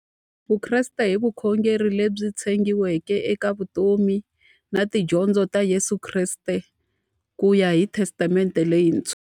Vukreste i vukhongeri lebyi tshegiweke eka vutomi na tidyondzo ta Yesu Kreste kuya hi Testamente leyintshwa.